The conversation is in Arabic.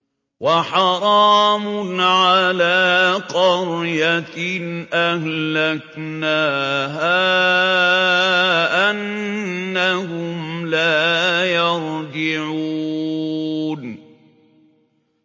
وَحَرَامٌ عَلَىٰ قَرْيَةٍ أَهْلَكْنَاهَا أَنَّهُمْ لَا يَرْجِعُونَ